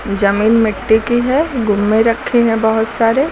जमीन मिट्टी की है गुम्मे रखे है बहोत सारे--